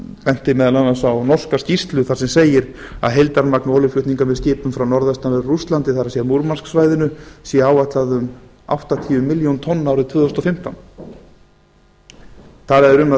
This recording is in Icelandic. benti meðal annars á norska skýrslu þar sem segir að heildarmagn olíuflutninga með skipum frá norðvestanverðu rússlandi það er múrmansksvæðinu sé áætlað um áttatíu milljónir tonna árið tvö þúsund og fimmtán talað er um að